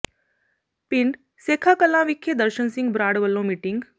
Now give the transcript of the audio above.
ਪਿੰਡ ਸੇਖਾ ਕਲਾਂ ਵਿਖੇ ਦਰਸ਼ਨ ਸਿੰਘ ਬਰਾੜ ਵੱਲੋਂ ਮੀਟਿੰਗਾਂ